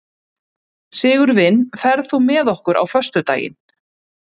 Sigurvin, ferð þú með okkur á föstudaginn?